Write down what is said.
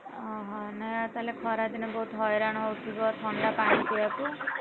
ଓହୋ ନାଇଁ ଆଉ ତାହେଲେ ଖରା ଦିନେ ତାହେଲେ ବୋହୁତ ହଇରାଣ ହଉଥିବ ଥଣ୍ଡା ପାଣି ପିଇବାକୁ ?